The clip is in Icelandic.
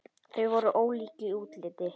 Þau voru ólík í útliti.